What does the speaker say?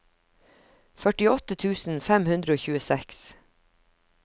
førtiåtte tusen fem hundre og tjueseks